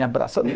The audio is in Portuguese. Me abraçando.